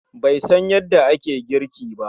Be san yanda ake girki ba